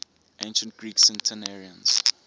ancient greek centenarians